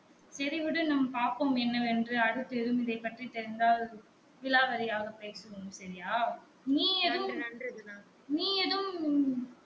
செரி விடு நாம் பாப்போம் என்னவென்று அடுத்து எதும் இதை பற்றி தெரிந்தால் விலாவரியாக பேசுவோம் செரியா நீ எதுவும் நீ எதுவும்